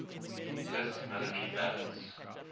iiss military balance